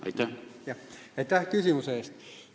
Aitäh küsimuse eest!